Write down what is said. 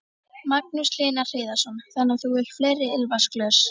Magnús Hlynur Hreiðarsson: Þannig að þú vilt fleiri ilmvatnsglös?